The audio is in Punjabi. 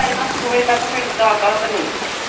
ਵਜੇ ਤੱਕ ਫਿਰ ਦੱਸਦਾ ਤੈਨੂੰ।